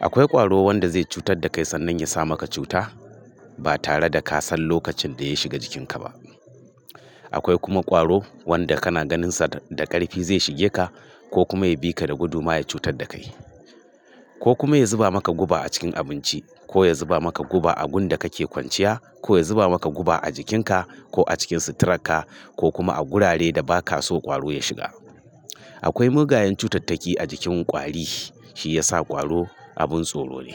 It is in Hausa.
Akwai ƙwaro wanda zai cutar da kai sannan ya sa maka cuta ba tare da ka san lokacin da ya shiga jikinka ba. Akwai kuma ƙwaro wanda kana ganinsa da ƙarfi zai shige ka ko kuma ya bi ka da gudu ma ya cutar da kai. Ko kuma ya zuba maka guba a cikin abinci, ko ya zuba maka guba a gun da kake kwanciya, ko ya zuba maka guba a jikinka ko a cikin suturarka ko kuma a gurare da ba ka so ƙwaro ya shiga. Akwai mugayen cutattaki a jikin kwari shi ya sa ƙwaro abin tsoro ne.